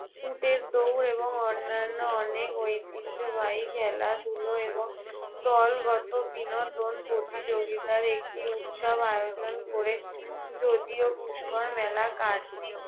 উটের দৌড় এবং অন্যান্য অনেক ঐতিহ্যবাহী খেলাধুলো এবং দলগত বিনোদন প্রতিযোগিতার একটি উৎসব আয়োজন করে। যদিও পুষ্কর মেলা কার্তিক